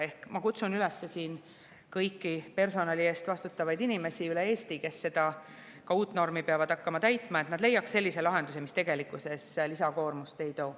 Ehk ma kutsun üles siin kõiki personali eest vastutavaid inimesi üle Eesti, kes peavad hakkama ka seda uut normi täitma: leidke selline lahendus, mis tegelikkuses lisakoormust kaasa ei too.